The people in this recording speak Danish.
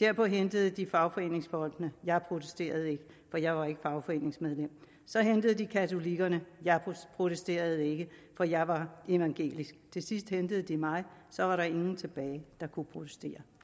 derpå hentede de fagforeningsfolkene jeg protesterede ikke for jeg var ikke fagforeningsmedlem så hentede de katolikkerne jeg protesterede ikke for jeg var evangelisk til sidst hentede de mig og så var der ingen tilbage der kunne protestere